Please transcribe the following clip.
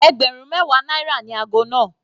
Ẹgbẹ̀rún mẹwa náírà ni ago náà.